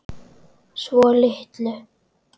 Svo litlu.